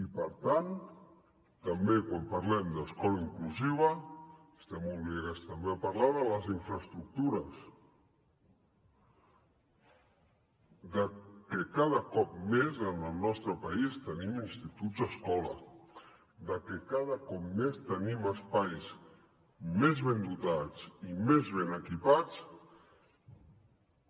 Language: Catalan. i per tant també quan parlem d’escola inclusiva estem obligats també a parlar de les infraestructures de que cada cop més en el nostre país tenim instituts escola de que cada cop més tenim espais més ben dotats i més ben equipats